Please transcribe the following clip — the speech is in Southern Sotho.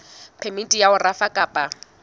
phemiti ya ho rafa kapa